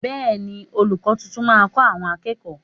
Bẹẹni, olùkọ́ tuntun máa kọ àwọn akẹ́kọ̀ọ́